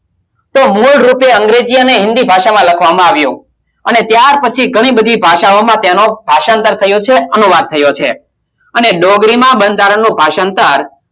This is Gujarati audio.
તો મૂળરૂપે અંગ્રેજી અને હિન્દી ભાષામાં લખવામાં આવ્યું અને ત્યાર પછી ઘણી બધી ભાષાઓમાં તેનો ભાષાંતર થયો છે અનુવાદ થયો છે અને ડોગરીમાં બંધારણનું ભાષાંતર